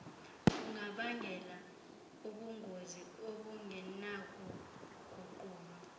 bungabangela ubungozi obungenakuguqulwa